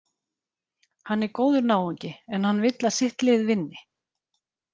Hann er góður náungi, en hann vill að sitt lið vinni.